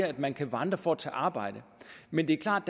at man kan vandre for at tage arbejde men det er klart